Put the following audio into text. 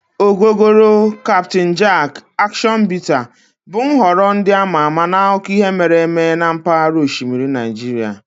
Ogogoro, Captain Jack, Action Bitter bụ nhọrọ ndị ama ama n'akụkọ ihe mere eme na mpaghara osimiri Nigeria.